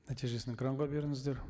нәтижесін экранға беріңіздер